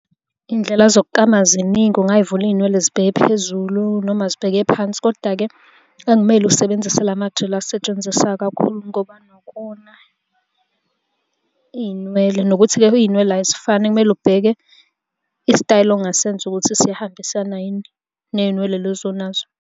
Iy'ndlela zokuklama ziningi, ungay'vula iy'nwele zibheke phezulu, noma zibheke phansi, koda-ke akumele usebenzise lamajeli asetshenziswa kakhulu ngoba anokona iy'nwele, nokuthi-ke iy'nwele azifani kumele ubheke isitayela ongasenza ukuthi siyahambisana yini ney'nwele lezi onazo.